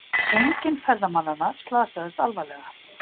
Enginn ferðamannanna slasaðist alvarlega